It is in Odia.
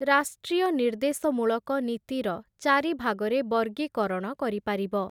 ରାଷ୍ଟ୍ରୀୟ ନିର୍ଦ୍ଦେଶମୂଳକ ନୀତିର ଚାରି ଭାଗରେ ବର୍ଗୀକରଣ କରିପାରିବ ।